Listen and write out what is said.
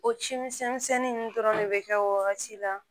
O ci misɛn misɛnnin nunnu dɔrɔn de be kɛ o wagati la